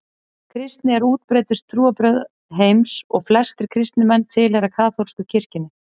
Kristni er útbreiddustu trúarbrögð heims og flestir kristnir menn tilheyra kaþólsku kirkjunni.